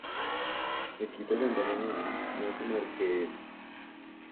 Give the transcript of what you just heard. E kit oganda mang’eny, nyasi mar keyo .